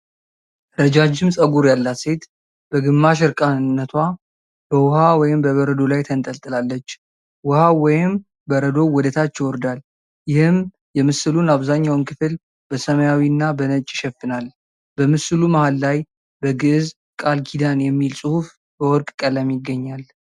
ረጃጅም ጸጉር ያላት ሴት በግማሽ እርቃንነቷ በውሃ ወይም በበረዶ ላይ ተንጠልጥላለች። ውሃው ወይም በረዶው ወደ ታች ይወርዳል፣ ይህም የምስሉን አብዛኛውን ክፍል በሰማያዊና በነጭ ይሸፍናል። በምስሉ መሃል ላይ በግዕዝ "ቃል ኪዳን" የሚል ጽሑፍ በወርቅ ቀለም ይገኛል።